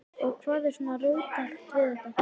Og hvað er svona róttækt við þetta?